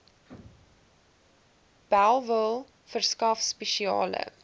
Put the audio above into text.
bellville verskaf spesiale